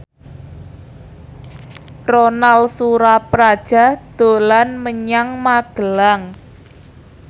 Ronal Surapradja dolan menyang Magelang